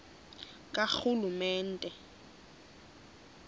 karhulumente